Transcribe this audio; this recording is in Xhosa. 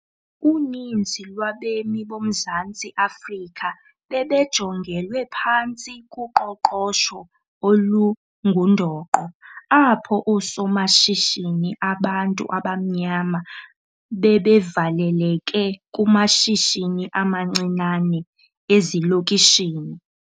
Uninzi lwabemi boMzantsi Afrika bebejongelwe phantsi kuqoqosho olungundoqo, apho oosomashishini abantu abamnyama bebevaleleke kumashishini amancinane ezilokishini.